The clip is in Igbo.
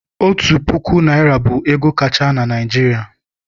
Otu puku naịra bụ ego kacha na Naịjirịa.